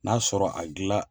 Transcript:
N'a sɔrɔ a gilan